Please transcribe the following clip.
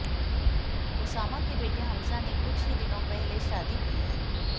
Osama के बेटे Hamza ने कुछ ही दिनों पहले शादी की है